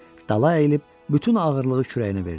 Dala əyilib bütün ağırlığı kürəyinə verdi.